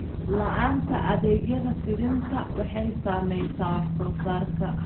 La'aanta adeegyada fidinta waxay saamaysaa wax soo saarka.